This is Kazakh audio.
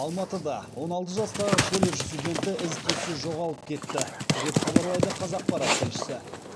алматыда он алты жастағы колледж студенті із түзсіз жоғалып кетті деп хабарлайды қазақпарат тілшісі